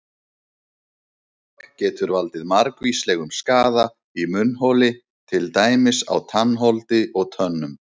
Munntóbak getur valdið margvíslegum skaða í munnholi til dæmis á tannholdi og tönnum.